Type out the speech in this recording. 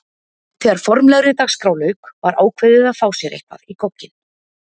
Þegar formlegri dagskrá lauk var ákveðið að fá sér eitthvað í gogginn.